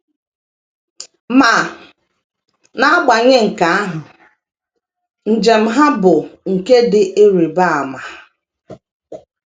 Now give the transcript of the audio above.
Ma, n’agbanye nke ahụ, njem ha bụ nke dị ịrịba ama.